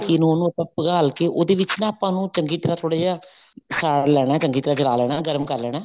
ਘੀ ਨੂੰ ਉਹਨੂੰ ਆਪਾਂ ਪਘਾਲ ਕੇ ਉਹਦੇ ਵਿੱਚ ਆਪਾਂ ਨੂੰ ਚੰਗੀ ਤਰ੍ਹਾਂ ਥੋੜਾ ਜਾ ਸਾੜ ਲੈਣਾ ਚੰਗੀ ਤਰ੍ਹਾਂ ਜਲਾ ਲੈਣਾ ਗਰਮ ਕਰ ਲੈਣਾ